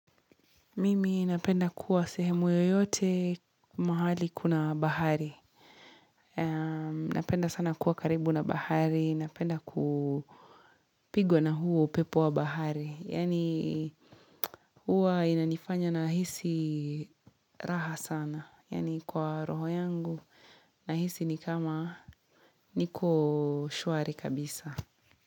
Mimi napenda kuwa sehemu yoyote mahali kuna bahari. Napenda sana kuwa karibu na bahari. Napenda kupigwa na huo upepo wa bahari. Yani huwa inanifanya nahisi raha sana. Yani kwa roho yangu. Nahisi ni kama niko shwari kabisa.